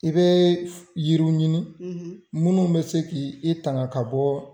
I bɛ yiriw ɲini minnu bɛ se k' i tanga ka bɔ.